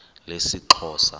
lesixhosa